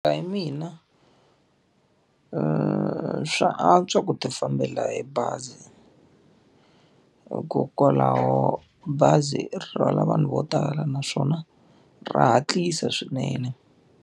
Ku ya hi mina, swa antswa ku ti fambela hi bazi. Hikokwalaho bazi ri rhwala vanhu vo tala naswona ra hatlisa swinene.